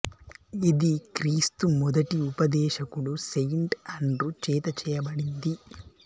ఇది క్రీస్తు మొదటి ఉపదేశకుడు సెయింట్ అండ్రూ చేత చేయబడింది